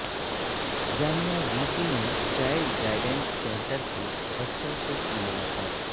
جامعہ V C نے child guidance centre کے بچوںسے کی ملاقات